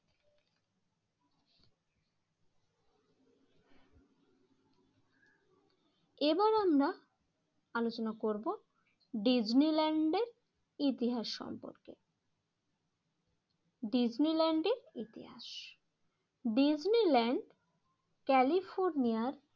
এবার আমরা আলোচনা করব ডিসনিল্যান্ডের ইতিহাস সম্পর্কে। ডিসনিল্যান্ডের ইতিহাস ডিসনিল্যান্ড ক্যালিফোর্নিয়ার